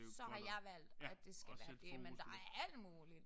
Så har jeg valgt at det skal være det. Men der er alt muligt